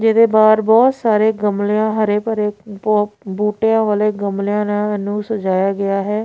ਜਿਹਦੇ ਬਾਹਰ ਬਹੁਤ ਸਾਰੇ ਗਮਲੇ ਆ ਹਰੇ ਭਰੇ ਬ ਬੂਟਿਆਂ ਵਾਲੇ ਗਮਲਿਆਂ ਨਾਲ ਇਹਨੂੰ ਸਜਾਇਆ ਗਿਆ ਹੈ।